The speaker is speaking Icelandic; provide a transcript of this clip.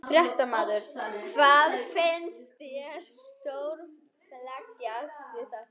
Fréttamaður: Hvað finnst þér stórfenglegast við þetta?